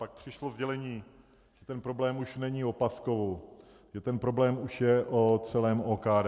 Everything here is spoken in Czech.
Pak přišlo sdělení, že ten problém už není o Paskovu, že ten problém už je o celém OKD.